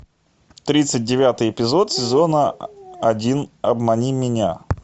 тридцать девятый эпизод сезона один обмани меня